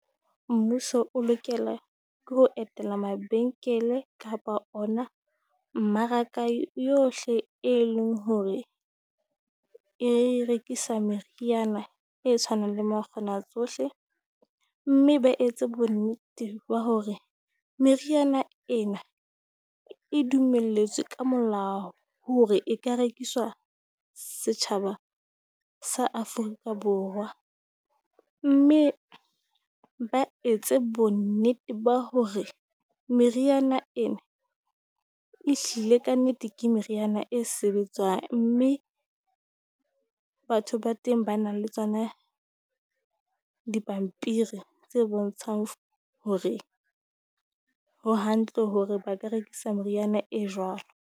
Mmuso o lokela ke ho etela mabenkele kapa ona mmaraka yohle e leng hore e rekisa meriana e tshwanang le makgona tsohle, mme ba etse bonnete ba hore meriana ena e dumelletswe ka molao hore e ka rekiswa setjhaba sa Afrika Borwa. Mme ba etse bonnete ba hore meriana ena ehlile kannete ke meriana e sebetswang, mme batho ba teng ba nang le tsona dipampiri tse bontshang hore ho hantle hore ba ka rekisa meriana e jwalo.